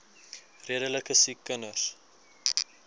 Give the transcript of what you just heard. redelike siek kinders